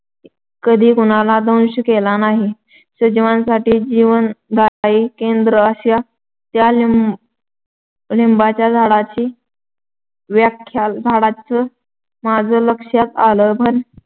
कधी कुणाला दंश केला नाही. सजीवांसाठी जीवनदायी केंद्र अशी त्या लिंब लिंबाच्या झाडाची व्याख्या झाल्याचं माझ्या लक्षात आलं पण